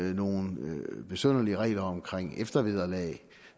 er nogle besynderlige regler om eftervederlag